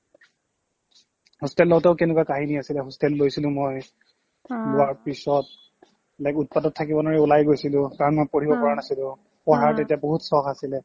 hostel তো কেনেকুৱা কাহিনী আছিলে hostel লৈছিলো মই লোৱাৰ পিছত like উৎপাতত থাকিব নোৱাৰি ওলাই গৈছিলো কাৰণ মই পঢ়িব পৰা নাছিলো পঢ়াৰ তেতিয়া বহুত চখ আছিলে